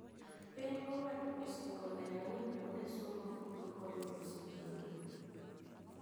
Piny owacho osingo nenoni kuonde somo duto oyudo sitima